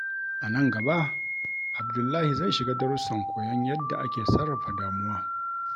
A nan gaba, Abdullahi zai shiga darusan koyon yadda ake sarrafa damuwa.